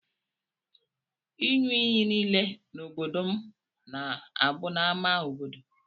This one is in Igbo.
Inyụ iyi nile na obodo mụ na abu n'ama obodo.